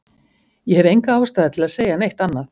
Ég hef enga ástæðu til að segja neitt annað.